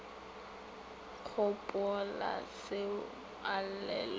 gopolaseo a lle le go